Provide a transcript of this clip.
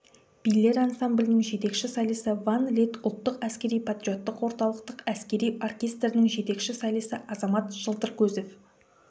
билер ансамблінің жетекші солисі ван лид ұлттық әскери-патриоттық орталықтың әскери оркестрінің жетекші солисі азамат жылтыркөзов